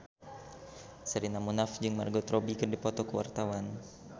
Sherina Munaf jeung Margot Robbie keur dipoto ku wartawan